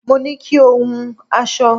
Mo ní kí o hun aṣọ